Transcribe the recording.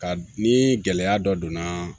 Ka ni gɛlɛya dɔ donna